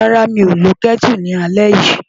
Rárá, mi ò lo Kẹ́tù lálẹ́ yìí.